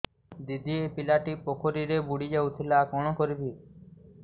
ଦିଦି ଏ ପିଲାଟି ପୋଖରୀରେ ବୁଡ଼ି ଯାଉଥିଲା କଣ କରିବି